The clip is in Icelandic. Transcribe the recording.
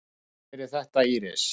Takk fyrir þetta Íris.